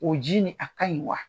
O ji nin a ka ɲi wa?